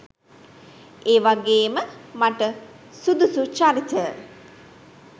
ඒවගේම මට සුදුසු චරිත